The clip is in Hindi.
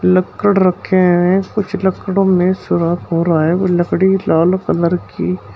लक्कड़ रखे हैं कुछ लकड़ों में सुराख हो रहा है वो लकड़ी लाल कलर की --